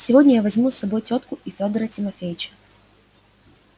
сегодня я возьму с собой тётка и фёдора тимофеича